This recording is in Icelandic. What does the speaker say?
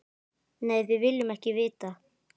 Nei, við viljum ekki vita.